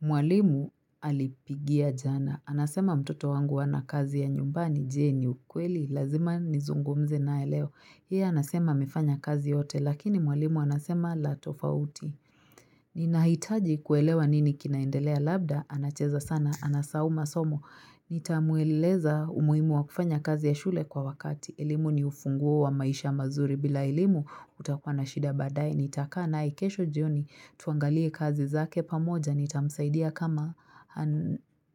Mwalimu alipigia jana. Anasema mtoto wangu hana kazi ya nyumbani je ni ukweli? Lazima nizungumze naye leo. Yeye anasema amefanya kazi yote lakini mwalimu anasema la tofauti. Ni nahitaji kuelewa nini kinaendelea labda, anacheza sana, anasahau masomo, nitamueleza umuhimu wa kufanya kazi ya shule kwa wakati, elimu ni ufunguo wa maisha mazuri bila elimu utakuwa na shida badae, nitakaa naye kesho jioni, tuangalie kazi zake pamoja, nitamsaidia kama